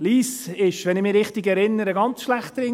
Wenn ich mich richtig erinnere, war Lyss sehr schlecht dran.